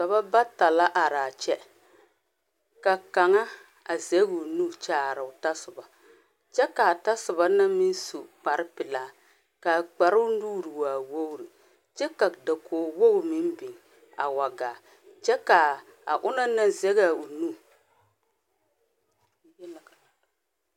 Dɔɔba bata la are kyɛ, ka kaŋa a zage o nu a kyaro o ta sɔba ka kaa ta sɔba na su kpare pelaa kaa kparo nuure e sɔglo, kyɛ ka dakogi wogre meŋ are kyɛ ka ona naŋ zage o nu